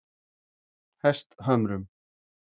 Hesthömrum